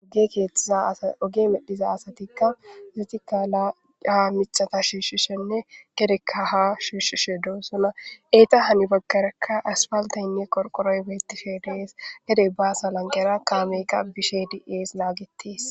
Oge keethtiza oge medhiza asatikka zitikka aha micata shiishshishenne gedekka ha shiishshishe doossuna eeta hani baggarekka aspaltaynne qorqoroy weetife dees gedey baasa langera kaameqa bishe di'es laagites